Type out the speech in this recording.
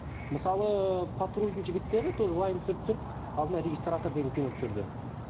мысалы патрульдің жігіттері тоже вайн түсіріп түсіріп алдында регистратор деген кино түсірді